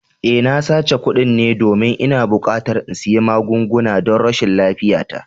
Eh, na sace kuɗin ne domin ina buƙatar in sayi magunguna don rashin lafiyata